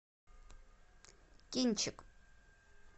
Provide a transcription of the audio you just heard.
кинчик